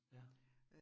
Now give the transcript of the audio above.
Ja